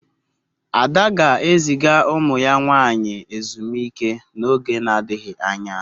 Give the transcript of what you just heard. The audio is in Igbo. Ada ga-eziga umu ya nwanyi ezumike n'oge na-adighi anya